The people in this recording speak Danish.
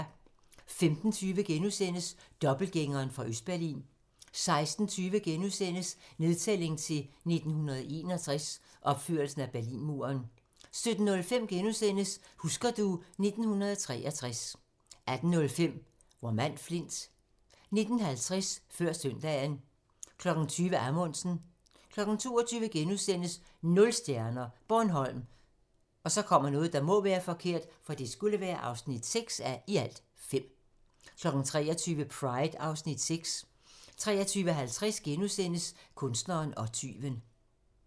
15:20: Dobbeltgængeren fra Østberlin * 16:20: Nedtælling til 1961 - opførelsen af Berlinmuren * 17:05: Husker du ... 1983 * 18:05: Vor mand Flint 19:50: Før søndagen 20:00: Amundsen 22:00: Nul stjerner - Bornholm (6:5)* 23:00: Pride (Afs. 6) 23:50: Kunstneren og tyven *